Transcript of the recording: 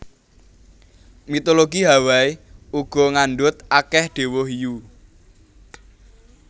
Mitologi Hawaii uga ngandhut akèh déwa hiyu